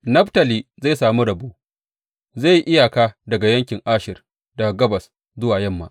Naftali zai sami rabo; zai yi iyaka da yankin Asher daga gabas zuwa yamma.